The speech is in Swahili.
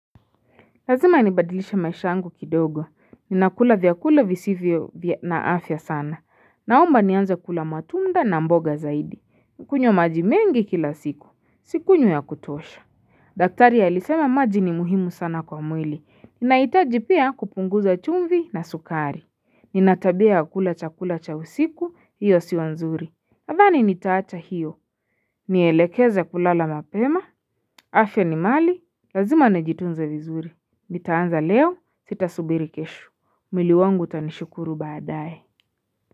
Lazima nibadilishe maisha yangu kidogo, ninakula vyakula visivyo na afya sana, naomba nianze kula matunda na mboga zaidi, kunywa maji mengi kila siku, sikunywi ya kutosha daktari alisema maji ni muhimu sana kwa mwili, ninahitaji pia kupunguza chumvi na sukari, nina tabia ya kula chakula cha usiku, hiyo sio nzuri nadhani nitaacha hiyo, nielekeza kulala mapema, afya ni mali, lazima nijitunze vizuri Nitaanza leo sitasubiri keshu. Mwili wangu utanishukuru baadaye.